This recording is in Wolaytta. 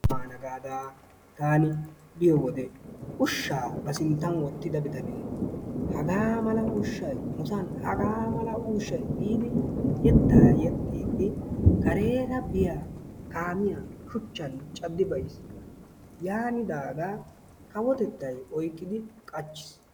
Qumaa maana gada taani biyoode ushshaa ba sinttan wootida bitanee hagaa mala ushshay nusaan hagaa mmala ushshay giidi yeettaa yeexxidi kareera biyaa kaamiyaa shuchchan caaddi bayiis. yaanidaaga kawotettay oyqqidi qachchiis.